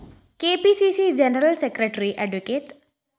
K P C C general secretary adv